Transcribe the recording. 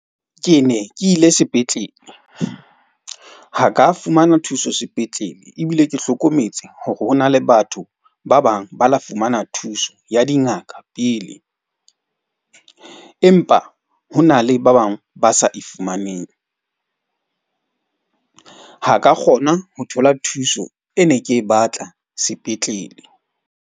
Ke ne ke ile sepetlele ha ka fumana thuso sepetlele. Ebile ke hlokometse hore ho na le batho ba bang ba la fumana thuso ya dingaka pele. Empa ho na le ba bang ba sa e fumaneng. Ha ka kgona ho thola thuso e ne ke batla sepetlele.